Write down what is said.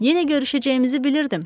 Yenə görüşəcəyimizi bilirdim.